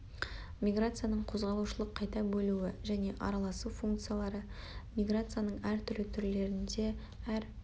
миграцияның қозғалушылық қайта бөлуі және араласу функциялары миграцияның әр түрлі түрлерінде әр